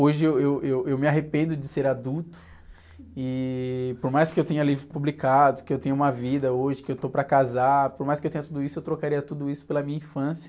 Hoje eu, eu, eu me arrependo de ser adulto e por mais que eu tenha livros publicados, que eu tenha uma vida hoje, que eu estou para casar, por mais que eu tenha tudo isso, eu trocaria tudo isso pela minha infância.